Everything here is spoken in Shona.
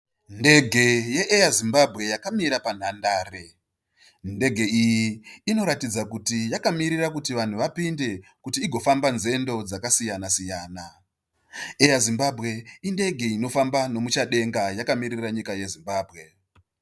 Ndege ye air Zimbabwe yakamira pa nhañdare. Ndege iyi inoratidza kuti yakamirira kuti Vanhu vapinde kuti igofamba nzendo dzakasiyana siyana. Air Zimbabwe indege inofamba nemuchadenga yakamirira nyika ye Zimbabwe.